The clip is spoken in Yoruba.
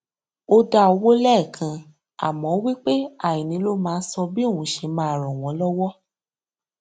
ó dá owó lẹẹkan àmọ ó wí pé àìní ló máa sọ bí òun ṣe máa ràn wọn lọwọ